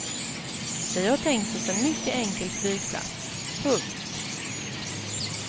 Vi har tänkt oss en mycket enkel flygplats. punkt